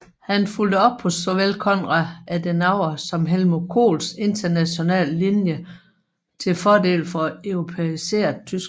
Han fulgte op på såvel Konrad Adenauer som Helmuth Kohls internationale linje til fordel for et europæiseret tyskland